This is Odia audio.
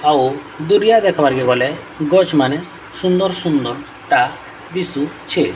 ଆଉ ଦୂରିଆ ଦେଖବାର୍ କେ ଗଲେ ଗଛ୍ ମାନେ ସୁନ୍ଦର୍ ସୁନ୍ଦର୍ ଟା ଦିଶୁଛେ।